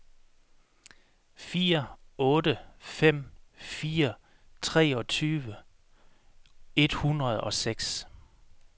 fire otte fem fire treogtyve et hundrede og seks